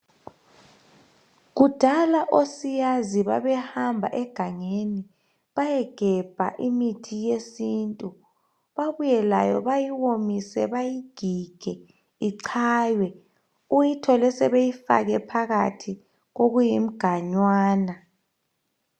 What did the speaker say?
kudala osiyazi babehamba egangeni bayegebha imithi yesintu babuye layo bayiwomise bayigige ichaywe uyithole sebeyifake phakathi kokuyimganwana